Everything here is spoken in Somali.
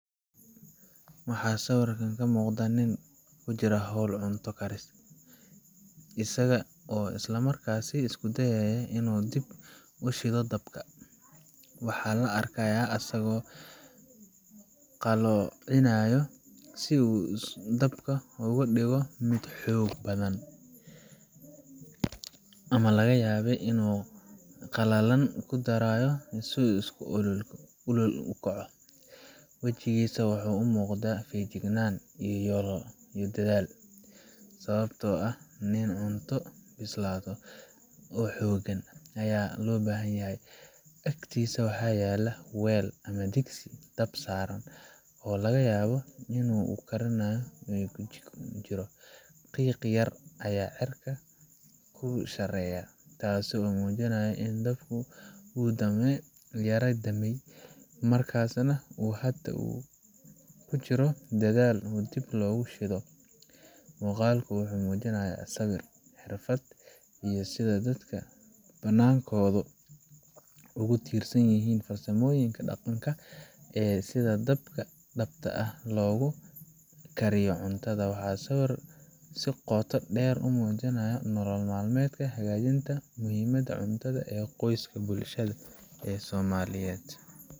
Waxa siwirkan kamuqda nin kujira hol cunto karis, isaga oo islamarkasi iskudayaya inu dib ushido dabka, waxa laa arkaya asago qalocinayo si uu dabka ogadigo mid xog badhan, ama lagayaba inu qalalan kudarayo sii uu ololku ukoco wijigisa wuxu umuqda fig jignan iyo dadhal, sababto ah nin cunto bislado oo xogan aya lo bahanyahay agtisa waxa yala wel, ama digsi dab saran oo lagayabo inu uu karinayo wixi burjiko kujiro qiq yar aya cirka kuu sareya, tasi oo mujinayo inu dabka uu yara damey markasnah uu kujiro dadhal oo dib logu shido. Muqalka wuxu mujinayah siwir xirfad iyo sidha dadka banankodu ugu tirsanyihin, farsamoyinka daqanka ee sidha dabka ah logu kariyo cuntada, waxa siwir sii qoto der umujinaya nolol mal medka hagajinta muhimada cuntada ee qoska bulshada somaliyed.